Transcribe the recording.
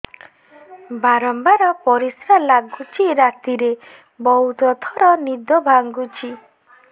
ବାରମ୍ବାର ପରିଶ୍ରା ଲାଗୁଚି ରାତିରେ ବହୁତ ଥର ନିଦ ଭାଙ୍ଗୁଛି